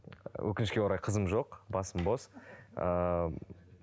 өкінішке орай қызым жоқ басым бос ыыы